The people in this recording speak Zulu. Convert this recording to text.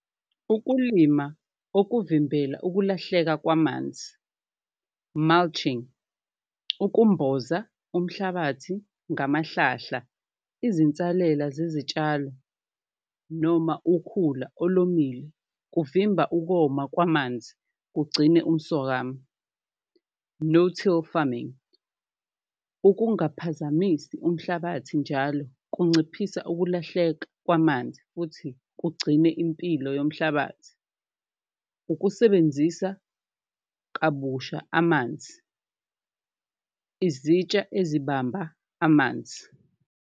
Ukulima kokuvimbela ukulahleka kwamanzi mulching, ukumboza umhlabathi ngamahlahla, izinsalela zezitshalo noma ukhula olomile kuvimba ukoma kwamanzi kugcine umswakamo, no-till farming, ukungaphazamisi umhlabathi njalo kunciphisa ukulahleka kwamanzi futhi kugcine impilo yomhlabathi. Ukusebenzisa kabusha amanzi, izitsha ezibamba amanzi.